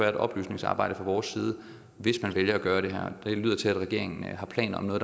et oplysningsarbejde fra vores side hvis man skal gøre det her og det lyder til at regeringen har planer om at